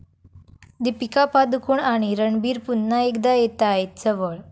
दीपिका पदुकोण आणि रणबीर पुन्हा एकदा येतायत जवळ